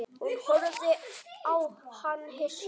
Hún horfði á hann hissa.